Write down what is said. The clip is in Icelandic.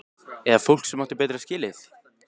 Eða fólk sem átti betra skilið?